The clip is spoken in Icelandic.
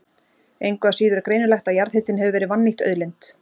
Engu að síður er greinilegt að jarðhitinn hefur verið vannýtt auðlind.